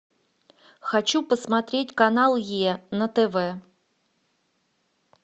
хочу посмотреть канал е на тв